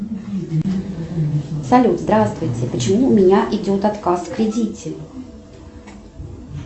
салют здравствуйте почему у меня идет отказ в кредите